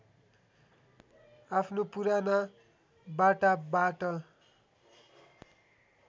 आफ्नो पुराना बाटाबाट